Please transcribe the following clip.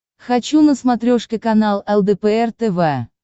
хочу на смотрешке канал лдпр тв